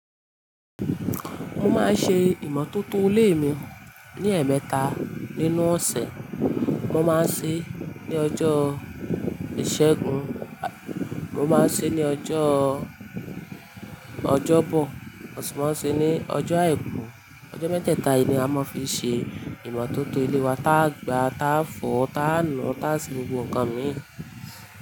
Mo máa ń ṣe ìmọ̀tótó ilé mi ní ẹ̀ẹ̀mẹta nínú ọ̀sẹ̀. Mo máa ń ṣe é ní ọjọ́ ìṣẹ́gun, mo máa ń ṣe é ní ọjọ́, ọjọ́bọ̀, mo sì máa ń ṣe é ní ọjọ́ àìkú. Ọjọ́ mẹ́tẹ̀ẹ̀ta yìí ni a máa ń fi ṣe ìmọ̀tótó ilé wa. Tá a gbá, tá a fọ, tá a nù, tá a se gbogbo nǹkan mìíràn.